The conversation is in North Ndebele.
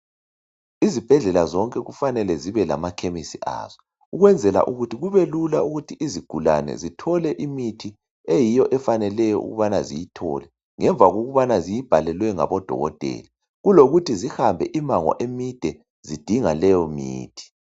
lzibhedlela zonke kufanele zibe lamakhemisi azo ukwenzela ukuthi kube lula ukuthi izigulane zithole imithi eyiyo efaneleyo ukubana ziyithole ngemva kokubana ziyibhalelwe ngabodokotela kulokuthi zihlambe imango emide zidinga leyo mithi.